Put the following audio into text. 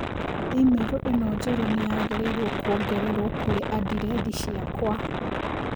i-mīrū Ĩno njerũ nĩyagĩrĩirũo kũongererũo kũrĩ andirethi ciakwa